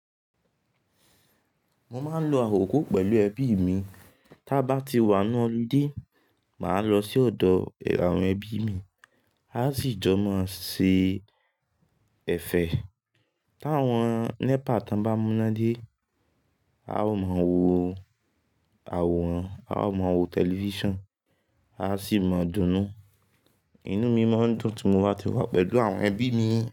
Mo máa ń lo àòko pẹ̀lú ẹbíi mii. Tá bá ti wà n nu holiday, màá lọ sí ọ̀dọ̀ àwọn ẹbí mi. A ó sì jọ máa se ẹ̀fẹ̀. Táwọn nepa bá múná dé, a ó máa wo àwòrán, a ó máa wo tẹlifíṣàn, a sì máa dunnú. Inú mi mọn dùn tí mo bá ti wá pẹ̀lú àwọn ẹbí mii.